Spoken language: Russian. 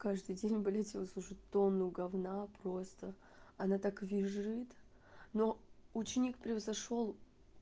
каждый день блять его слушать тонну гавна просто она так визжит но ученик превзошёл